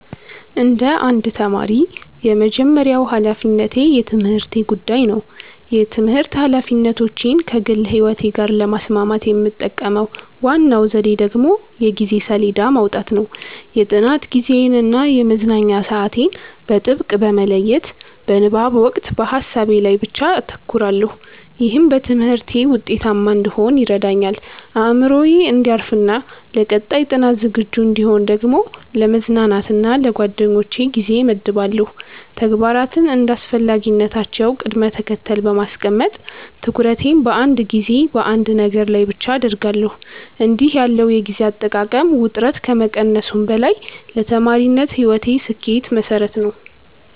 እንደ አንድ ተማሪ፣ የመጀመሪያው ሀላፊነቴ የትምህርቴ ጉዳይ ነው። የትምህርት ኃላፊነቶቼን ከግል ሕይወቴ ጋር ለማስማማት የምጠቀመው ዋናው ዘዴ ደግሞ የጊዜ ሰሌዳ ማውጣት ነው። የጥናት ጊዜዬን እና የመዝናኛ ሰዓቴን በጥብቅ በመለየት፣ በንባብ ወቅት በሀሳቤ ላይ ብቻ አተኩራለሁ። ይህም በትምህርቴ ውጤታማ እንድሆን ይረዳኛል። አእምሮዬ እንዲያርፍና ለቀጣይ ጥናት ዝግጁ እንድሆን ደግሞ ለመዝናናት እና ለጓደኞቼ ጊዜ እመድባለሁ። ተግባራትን እንደ አስፈላጊነታቸው ቅደም ተከተል በማስቀመጥ፣ ትኩረቴን በአንድ ጊዜ በአንድ ነገር ላይ ብቻ አደርጋለሁ። እንዲህ ያለው የጊዜ አጠቃቀም ውጥረትን ከመቀነሱም በላይ ለተማሪነት ሕይወቴ ስኬት መሠረት ነው።